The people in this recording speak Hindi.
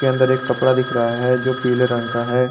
के अंदर एक कपड़ा दिख रहा है जो पीले रंग का है।